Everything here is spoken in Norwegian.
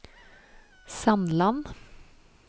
Sandland